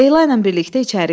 Leyla ilə birlikdə içəri girir.